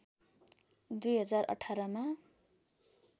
२०१८मा